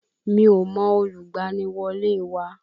Mi ò mọ olùgbaniwọlé wa